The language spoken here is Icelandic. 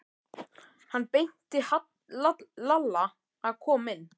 Hann benti Lalla að koma inn.